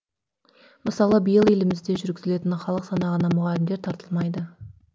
мысалы биыл елімізде жүргізілетін халық санағына мұғалімдер тартылмайды